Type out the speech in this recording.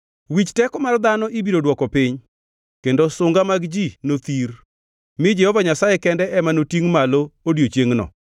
Wich teko mar dhano ibiro dwoko piny kendo sunga mag ji nothir, mi Jehova Nyasaye kende ema notingʼ malo odiechiengno,